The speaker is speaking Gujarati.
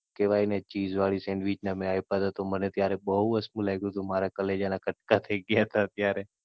Chess વાળી Sandwich ના આપ્યા હતા તો મને બઉ વસમું લાગ્યું હતું, મારા કલેજા ના કટકા થઇ ગયા હતા ત્યારે.